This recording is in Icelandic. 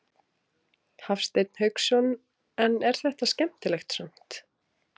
Hafsteinn Hauksson: En er þetta skemmtilegt samt?